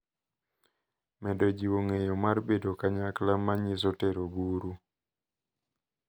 Medo jiwo ng’eyo mar bedo kanyakla ma nyiso tero buru.